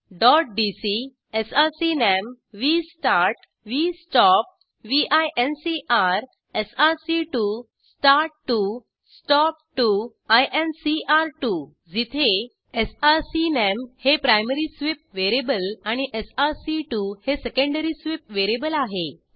dot DC SRC name V start V stop व्हिंकर एसआरसी2 स्टार्ट2 स्टॉप2 आयएनसीआर2 जिथे एसआरसीनाम हे प्रायमरी स्वीप वेरिएबल आणि एसआरसी2 हे सेकेंडरी स्वीप वेरिएबल आहे